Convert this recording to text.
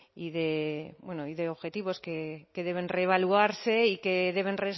y de bueno y de objetivos que deben reevaluarse y que deben